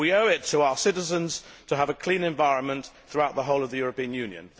We owe it to our citizens to have a clean environment throughout the whole of the European Union.